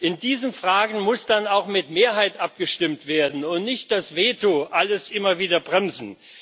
In diesen Fragen muss dann auch mit Mehrheit abgestimmt werden und darf das Veto nicht alles immer wieder bremsen.